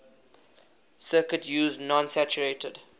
circuit used non saturated